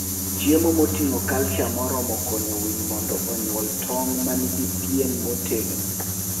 Chiemo moting'o calcium moromo konyo winy mondo onyuol tong' ma nigi pien motegno.